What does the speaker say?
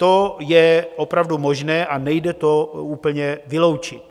To je opravdu možné a nejde to úplně vyloučit.